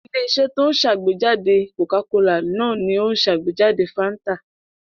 Ilé-iṣẹ́ tó ń ṣàgbéjáde Coca-Cola náà ni ó ṣàgbéjáde Fanta.